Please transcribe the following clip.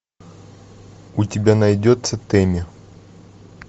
у тебя найдется тэмми